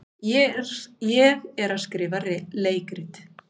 Ég er að skrifa leikrit.